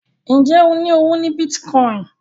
Njé o ní ọwọ ní Bitcoin?